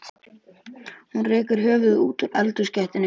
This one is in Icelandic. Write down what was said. Hún rekur höfuðið út úr eldhúsgættinni.